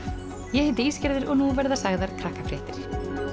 ég heiti Ísgerður og nú verða sagðar